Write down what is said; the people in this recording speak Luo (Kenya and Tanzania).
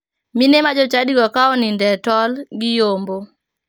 Mine ma jochadigo ka oninde e tol, giyombo.